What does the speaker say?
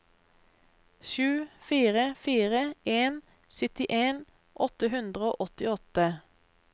sju fire fire en syttien åtte hundre og åttiåtte